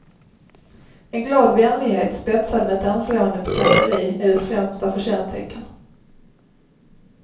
En glad vänlighet spetsad med ett anslående pikanteri är dess främsta förtjänsttecken.